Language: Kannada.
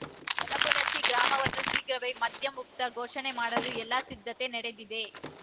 ಯಲಬುಣಚಿ ಗ್ರಾಮವನ್ನು ಶೀಘ್ರವೇ ಮದ್ಯಮುಕ್ತ ಘೋಷಣೆ ಮಾಡಲು ಎಲ್ಲ ಸಿದ್ಧತೆ ನಡೆದಿದೆ